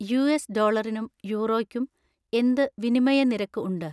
US ഡോളറിനും യൂറോയ്ക്കും എന്ത് വിനിമയ നിരക്ക് ഉണ്ട്